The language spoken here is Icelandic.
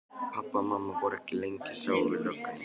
Pabbi og mamma voru ekki lengi að sjá við löggunni.